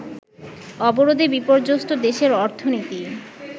অবরোধে বিপর্যস্ত দেশের অর্থনীতি